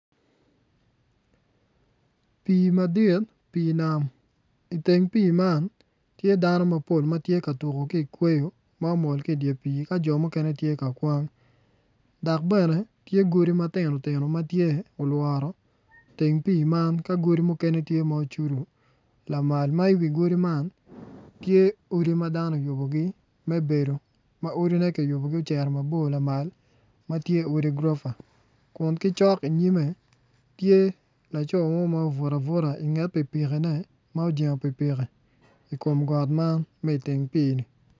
Pii madit pii nam iteng pii man tye dano mapol ma tye ka tuko ki ikweyo ma omol ki idye pii ka jo mukene tye ka kwang dok bene tye godi matino tino ma tye olworo teng pii man ka godi mukene tye ma ocudo lamal ma iwi godi man tye odi ma dano oyubogi me bedo ma odine kiyubogi oceto mabor lamal ma tye odi gurofa kun ki cok iyime tye laco mo ma obuto abuta inget pikipikine ma ojengo pikipiki i kom got man ma iteng pii-ni.